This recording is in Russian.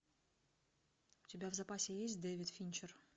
у тебя в запасе есть дэвид финчер